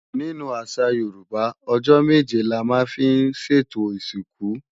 Nínú àṣà Yorùbá, ọjọ́ méje la máa ń fi sètò ìsìnkú.